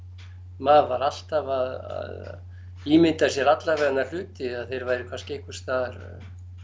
maður var alltaf að ímynda sér alla vega hluti að þeir væru kannski einhvers staðar